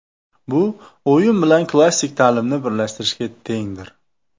Bu o‘yin bilan klassik ta’limni birlashtirishga tengdir.